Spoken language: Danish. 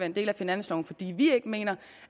en del af finansloven fordi vi ikke mener